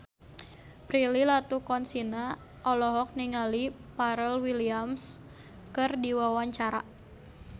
Prilly Latuconsina olohok ningali Pharrell Williams keur diwawancara